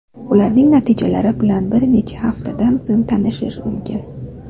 Ularning natijalari bilan bir necha haftadan so‘ng tanishish mumkin.